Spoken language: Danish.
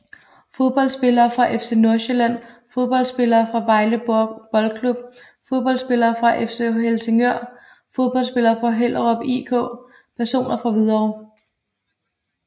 Fodboldspillere fra FC Nordsjælland Fodboldspillere fra Vejle Boldklub Fodboldspillere fra FC Helsingør Fodboldspillere fra Hellerup IK Personer fra Hvidovre